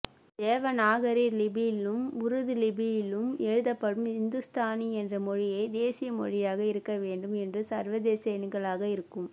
தேவநாகரி லிபியிலும் உருது லிபியிலும் எழுதப்படும் இந்துஸ்தானி என்ற மொழியே தேசிய மொழியாக இருக்கவேண்டும் என்றும் சர்வதேச எண்களாக இருக்கும்